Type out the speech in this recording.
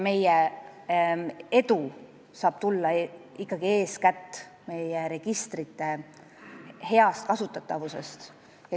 Meie edu saab tulla eeskätt meie registrite heast kasutatavusest.